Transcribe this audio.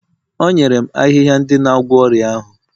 o nyere m ahịhịa ndị na-agwọ ọrịa ahụ